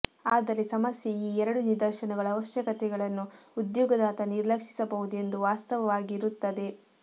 ಆದರೆ ಸಮಸ್ಯೆ ಈ ಎರಡು ನಿದರ್ಶನಗಳು ಅವಶ್ಯಕತೆಗಳನ್ನು ಉದ್ಯೋಗದಾತ ನಿರ್ಲಕ್ಷಿಸಬಹುದು ಎಂದು ವಾಸ್ತವವಾಗಿ ಇರುತ್ತದೆ